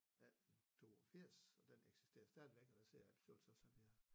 1882 og den eksisterer stadigvæk og der sidder jeg i bestyrelsen som jeg